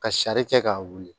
Ka sari kɛ k'a wuli